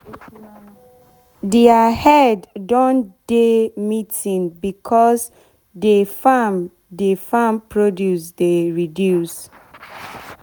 deir head don do meeting becos de farm de farm produce dey reduce